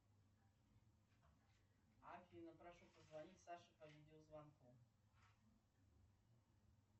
афина прошу позвонить саше по видеозвонку